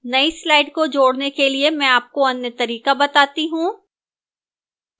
नई slide को जोड़ने के लिए में आपको अन्य तरीका बताता हूं